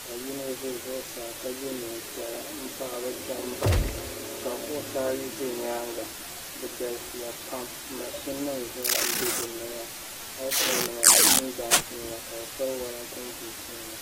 ka yino ʒɛ zuɣusaa ka yɛ neen piɛla n tiɛhi bi kpɛm n bala maa ka kuɣusi ayi ʒɛ nyaanga bi galisiya pam mashin nim zaa n bɛ dinni maa heed pai nima ni pingaas nima ka bi piti wolatin buut nima